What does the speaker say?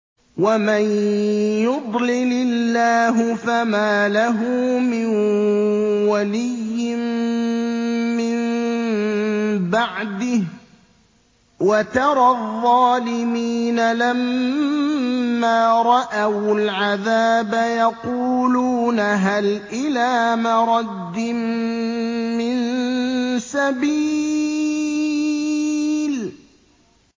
وَمَن يُضْلِلِ اللَّهُ فَمَا لَهُ مِن وَلِيٍّ مِّن بَعْدِهِ ۗ وَتَرَى الظَّالِمِينَ لَمَّا رَأَوُا الْعَذَابَ يَقُولُونَ هَلْ إِلَىٰ مَرَدٍّ مِّن سَبِيلٍ